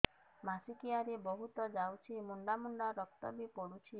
ମାସିକିଆ ରେ ବହୁତ ଯାଉଛି ମୁଣ୍ଡା ମୁଣ୍ଡା ରକ୍ତ ବି ପଡୁଛି